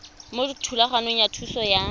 mo thulaganyong ya thuso y